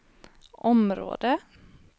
område